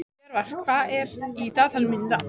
Jörvar, hvað er í dagatalinu mínu í dag?